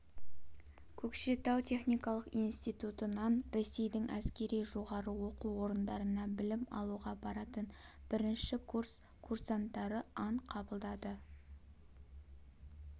көкшетау техникалық институтынан ресейдің әскери жоғары оқу орындарына білім алуға баратын бірінші курс курсанттары ант қабылдады